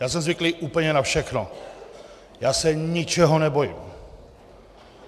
Já jsem zvyklý úplně na všechno, já se ničeho nebojím.